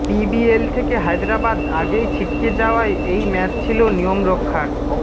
PBL থেকে হায়দরাবাদ আগেই ছিটকে যাওয়ায় এই ম্যাচ ছিল নিয়মরক্ষার